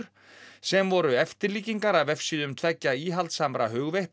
sem voru eftirlíkingar af vefsíðum tveggja íhaldssamra